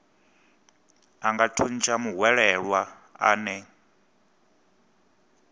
a nga thuntsha muhwelelwa ane